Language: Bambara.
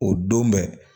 O don bɛ